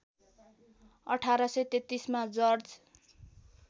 १८३३ मा जर्ज